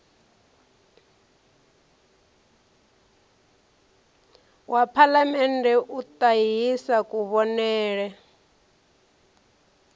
wa phalamennde u ṱahisa kuvhonele